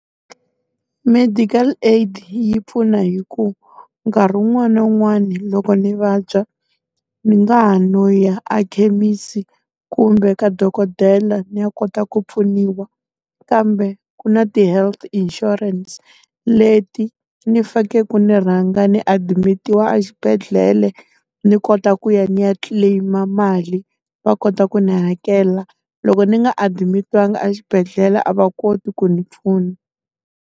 Medical aid yi pfuna hi ku, nkarhi wun'wani na wun'wani loko ndzi vabya, ndzi nga ha no ya a ekhemisi kumbe ka dokodela ni ya kota ku pfuniwa. Kambe ku na ti-health insurance leti ndzi fanekele ku ndzi rhanga ndzi adimitiwa axibedhlele, ndzi kota ku ya ni ya claim-a mali va kota ku ni hakela. Loko ndzi nga and adimitiwangi axibedhela a va koti ku ndzi pfuna.